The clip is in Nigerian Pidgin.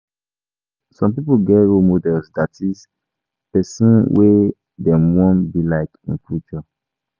Some pipo get role models i.e persin wey dem won be like in future